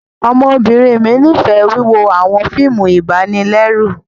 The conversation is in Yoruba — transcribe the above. Ọmọbinrin mi nifẹ wiwo awọn fíìmù ibanilẹru